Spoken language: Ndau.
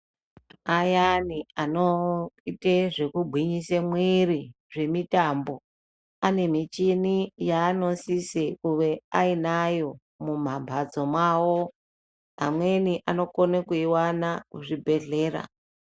Ayani anoita zvegugwinyisa muiri anoita zvemitambo, anemiti anoisise kunge ainayo mumambatso awo amweni anoiwane kuzvibhehlera .